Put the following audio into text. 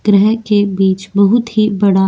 ग्रह के बीच बहुत ही बड़ा --